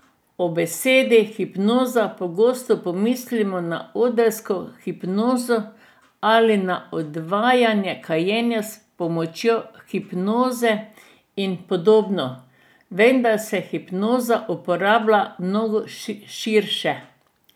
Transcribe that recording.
Ob besedi hipnoza pogosto pomislimo na odrsko hipnozo ali na odvajanje kajenja s pomočjo hipnoze in podobno, vendar se hipnoza uporablja mnogo širše ...